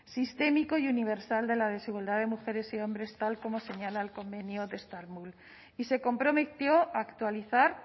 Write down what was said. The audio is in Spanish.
sistémico y universal de la desigualdad de mujeres y hombres tal como señala el convenio de estambul y se comprometió actualizar